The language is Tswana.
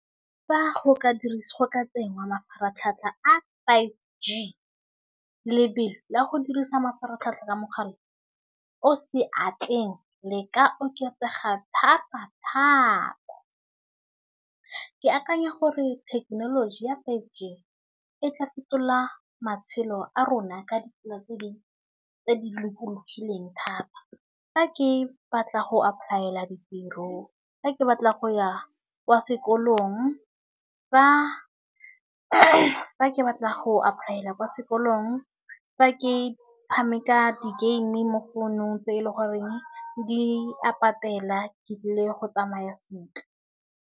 Fa go ka dirisiwa ka teng mafaratlhatlha a five G lebelo la go dirisa mafaratlhatlha ka mogala o seatleng le ka oketsega thata thata. Ke akanya gore thekenoloji ya five G etla fetola matshelo a rona ka ditsela tse di tse di lokologile teng thata. Fa ke batla go apply-ela ditiro, fa ke batla go ya kwa sekolong, fa ke batla go apply-ela kwa sekolong, fa ke tshameka di-game mo founong tse e leng goreng di a patela ke tlile go tsamaya sentle.